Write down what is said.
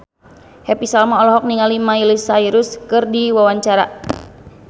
Happy Salma olohok ningali Miley Cyrus keur diwawancara